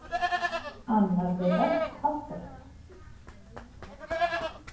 Annar þeirra haltraði.